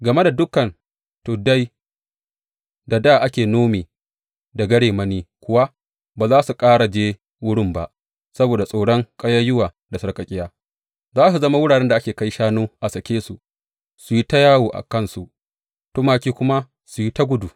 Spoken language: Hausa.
Game da dukan tuddai da dā ake nome da garemani kuwa, ba za ku ƙara je wurin ba saboda tsoron ƙayayyuwa da sarƙaƙƙiya; za su zama wuraren da ake kai shanu a sake su su yi ta yawo da kansu, tumaki kuma su yi ta gudu.